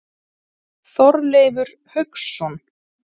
Þorleifur Hauksson.